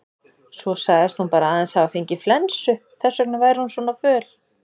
Svo sagðist hún bara aðeins hafa fengið flensu, þess vegna væri hún svona föl.